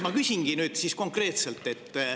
Ma küsingi nüüd konkreetselt.